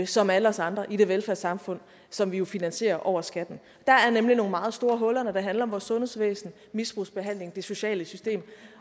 som alle os andre i det velfærdssamfund som vi jo finansierer over skatten der er nemlig nogle meget store huller når det handler om vores sundhedsvæsen misbrugsbehandling og det sociale system